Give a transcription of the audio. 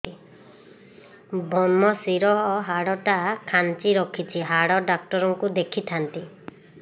ଵ୍ରମଶିର ହାଡ଼ ଟା ଖାନ୍ଚି ରଖିଛି ହାଡ଼ ଡାକ୍ତର କୁ ଦେଖିଥାନ୍ତି